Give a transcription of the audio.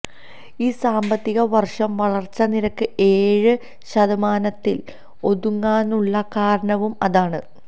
ഈ സാമ്പത്തിക വര്ഷം വളര്ച്ച നിരക്ക് ഏഴ് ശതമാനത്തില് ഒതുങ്ങാനുളള കാരണവും അതാണ്